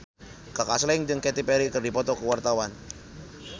Kaka Slank jeung Katy Perry keur dipoto ku wartawan